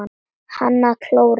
Kann að klóra.